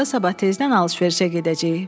Onda sabah tezdən alış-verişə gedəcəyik.